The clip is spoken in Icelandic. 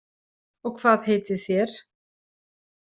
Og hvað heitið þér?